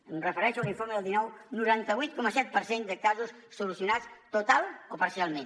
em refereixo a l’informe del dinou al noranta vuit coma set per cent de casos solucionats totalment o parcialment